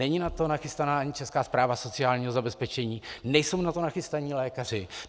Není na to nachystaná ani Česká správa sociálního zabezpečení, nejsou na to nachystaní lékaři.